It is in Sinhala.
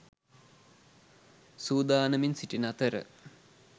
සූදානමින් සිටින අතර